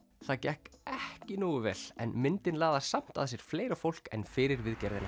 það gekk ekki nógu vel en myndin laðar samt að sér fleira fólk en fyrir viðgerðina